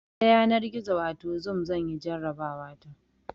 Ta yanar gizo wato zoom zanyi jarabawa ta